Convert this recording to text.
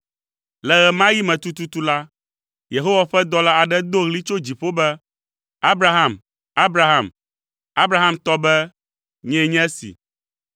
Le ɣe ma ɣi me tututu la, Yehowa ƒe dɔla aɖe do ɣli tso dziƒo be, “Abraham, Abraham!” Abraham tɔ be, “Nyee nye esi.”